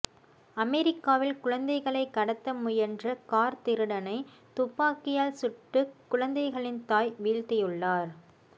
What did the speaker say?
அமெரிக்காவில் குழந்தைகளை கடத்த முயன்ற கார் திருடனை துப்பாக்கியால் சுட்டு குழந்தைகளின் தாய் வீழ்த்தியுள்ளார்